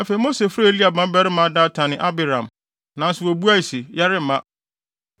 Afei Mose frɛɛ Eliab mmabarima Datan ne Abiram, nanso wobuae se, “Yɛremma!